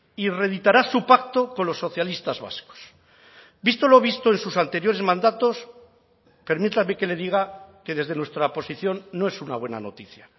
y reeditará su pacto con los socialistas vascos visto lo visto en sus anteriores mandatos permítame que le diga que desde nuestra posición no es una buena noticia